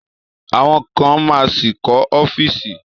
Àwọn kan ma ṣì kọ́ ọ́fíìsì